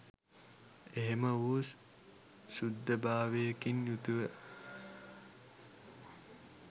එහිම වූ ශුද්ධභාවයකින් යුතුව